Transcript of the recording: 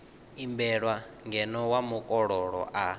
imbelwa ngeno wa mukololo a